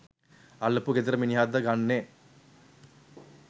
අල්ලපු ගෙදර මිනිහද ගන්නෙ?